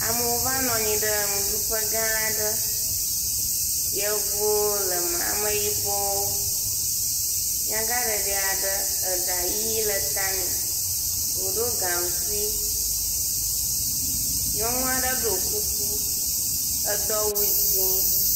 Amewo va nɔ anyi ɖe nuɖuƒe gãa aɖe. Yevuwo le eme, Ameyibɔwo, nyagaɖeɖi aɖe, eɖa yii le ta nɛ. Wòɖo gaŋkui, nyɔnu aɖe ɖoo kuku, edo awu dzẽe.